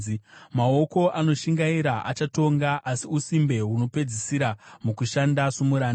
Maoko anoshingaira achatonga, asi usimbe hunopedzisira mukushanda somuranda.